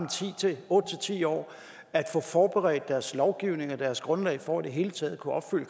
otte ti år at få forberedt deres lovgivning og deres grundlag for i det hele taget